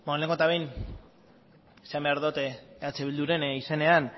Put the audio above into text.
lehenengo eta behin esan behar dut eh bilduren izenean